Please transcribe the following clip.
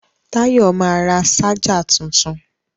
Táyọ̀ ma ra ṣájà tuntun